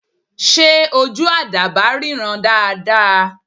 Ṣé ojú àdàbà ríran dáa dáa?